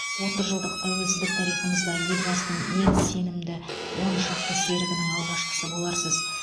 отыз жылдық тәуелсіздік тарихымызда елбасының ең сенімді оншақты серігінің алғашқысы боларсыз